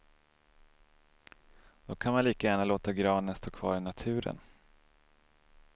Då kan man lika gärna låta granen stå kvar i naturen.